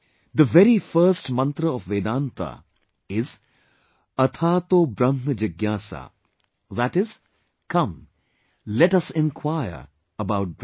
The very first mantra of Vedanta is 'Athaato Brahm Jigyasa', that is, come, let us inquire about Brahm